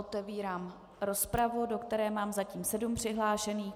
Otevírám rozpravu, do které mám zatím sedm přihlášených.